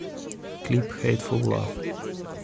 клип хэйтфул лав